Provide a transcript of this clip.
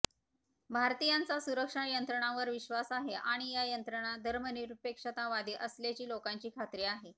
भारतीयांचा सुरक्षा यंत्रणांवर विश्वास आहे आणि या यंत्रणा धर्मनिरपेक्षतावादी असल्याची लोकांची खात्री आहे